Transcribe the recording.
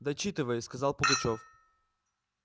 дочитывай сказал пугачёв